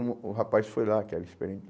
Hum o rapaz foi lá, que era experiente